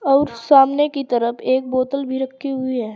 और सामने की तरफ एक बोतल भी रखी हुई है।